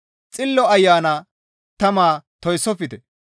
Xillo Ayana tama toyssofte.